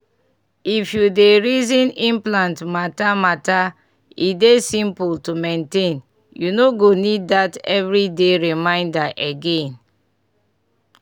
if u dey reason implant mata mata e dey simple to maintain u no go need dat everi day reminder again.